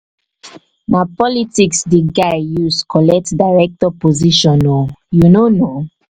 na politics di guy use collect director position o you no know?